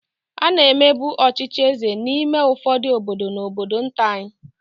A na-emebu ọchịchị eze n'ime ụfọdụ obodo na obodo nta anyị.